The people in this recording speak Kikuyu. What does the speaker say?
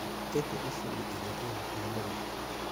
ĩkũ ucumĩ ĩrĩa ĩ hakuhĩ mũno